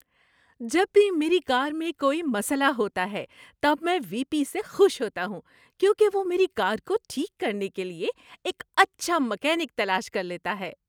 جب بھی میری کار میں کوئی مسئلہ ہوتا ہے تب میں وی پی سے خوش ہوتا ہوں کیونکہ وہ میری کار کو ٹھیک کرنے کے لیے ایک اچھا میکینک تلاش کر لیتا ہے۔